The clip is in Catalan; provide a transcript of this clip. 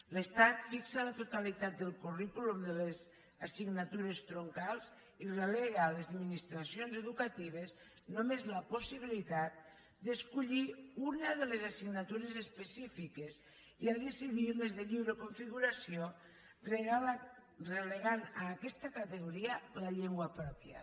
l’estat fixa la totalitat del currículum de les assignatures troncals i relega a les administracions educatives només la possibilitat d’escollir una de les assignatures específiques i a decidir les de lliure configuració i relega a aquesta categoria la llengua pròpia